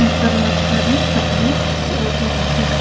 यहां पर बहुत सारे कपड़े बहुत ही अच्छे से--